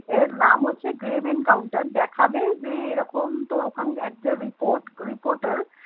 এর নাম হচ্ছে গ্রেভ এনকাউন্টার দেখাবে যে এরকম তোর ওখানকার একটা report reporter